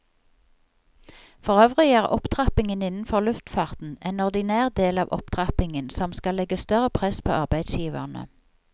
Forøvrig er opptrappingen innenfor luftfarten en ordinær del av opptrappingen som skal legge større press på arbeidsgiverne.